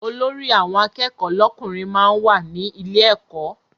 Olórí àwọn akẹ́kọ̀ọ́ lọ́kùnrin máa ń wà ní ilé ẹkọ.